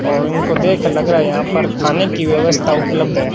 और इनको देख लग रहा है यहां पर खाने की व्यवस्था उपलब्ध है।